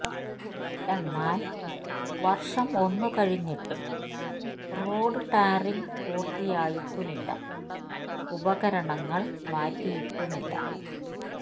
എന്നാല് വര്ഷം ഒന്നു കഴിഞ്ഞിട്ടും റോഡ് ടാറിംഗ് പൂര്ത്തിയായിട്ടുമില്ല ഉപകരണങ്ങള് മാറ്റിയിട്ടുമില്ല